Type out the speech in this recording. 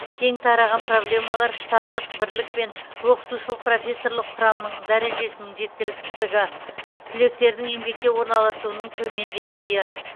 кең тараған проблемалар штаттық бірлік пен оқытушылық профессорлық құрамның дәрежесінің жеткіліксіздігі түлектердің еңбекке орналасуының төмен деңгейі